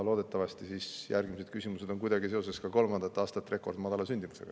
Loodetavasti järgmised küsimused on kuidagi seoses ka kolmandat aastat rekordmadala sündimusega.